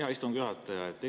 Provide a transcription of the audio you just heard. Hea istungi juhataja!